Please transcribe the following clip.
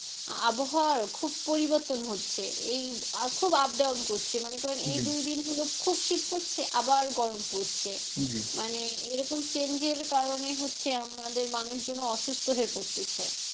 আবহাওয়ারও খুব পরিবর্তন হচ্ছে এই খুব up down করছে মনে করেন এই দুই তিন দিন গুলো খুব শীত পড়ছে আবার গরম পড়ছে মানে এরকম change এর কারনে হচ্ছে আমাদের মানুষজন ও অসুস্থ হয়ে পড়তিছে,